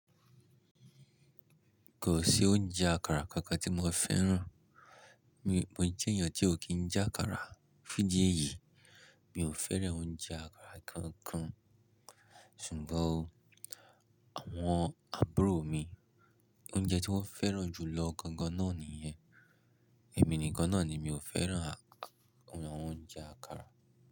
Kò sí oúnjẹ àkàrà kankan tí mo fẹ́ràn. Mi, mo jẹ́ èèyàn tí ò kí ń jẹ àkàrà fun di eyìí. Mi ò fẹ́ràn oúnjẹ àkàrà kankan. Ṣùgbọ́n àwọn àbúrò mi, oúnjẹ tí wọ́n fẹ́ràn jù lọ gangan náà nìyẹn. Èmi nìkan náà ni mi ò fẹ́ràn àwọn oúnjẹ àkàrà.